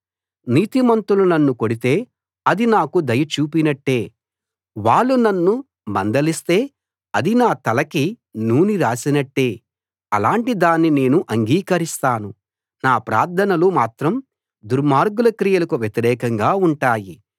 నీతిమంతులు నన్ను కొడితే అది నాకు దయ చూపినట్టే వాళ్ళు నన్ను మందలిస్తే అది నా తలకి నూనె రాసినట్టే అలాంటి దాన్ని నేను అంగీకరిస్తాను నా ప్రార్థనలు మాత్రం దుర్మార్గుల క్రియలకు వ్యతిరేకంగా ఉంటాయి